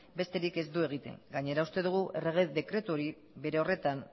besterik ez du egiten gainera uste dugu errege dekretu hori bere horretan